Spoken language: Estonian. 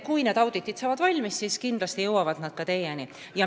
Kui need auditid saavad valmis, siis kindlasti jõuavad tulemused ka teieni.